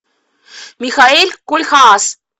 михаэль кольхаас